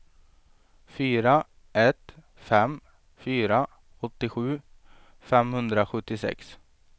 fyra ett fem fyra åttiosju femhundrasjuttiosex